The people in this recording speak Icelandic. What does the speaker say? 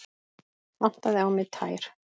Vantaði á mig tær?